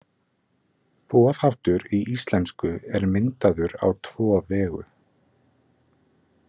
Boðháttur í íslensku er myndaður á tvo vegu.